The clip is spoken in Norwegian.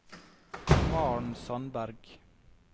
Maren Sandberg